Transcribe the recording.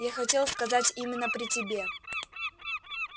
я хотел сказать именно при тебе